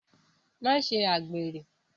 Ma ṣe àgbèrè.